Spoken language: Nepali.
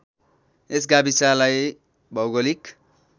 यस गाविसलाई भौगोलिक